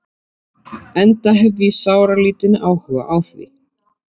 Enda hef ég sáralítinn áhuga á því.